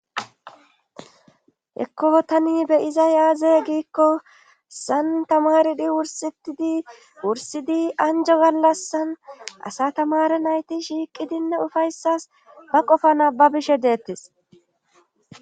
hekko tani be7izay aaze giikko sayn tamaridi wursetidi wursidi anjo gallassan asa tamare nayti shiiqidinne ufayssas ba qofana ba bishe deettes.